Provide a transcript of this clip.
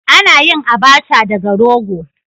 Ana yin "Abacha" daga rogo.